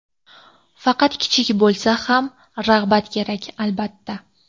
Faqat kichik bo‘lsa ham rag‘bat kerak, albatta.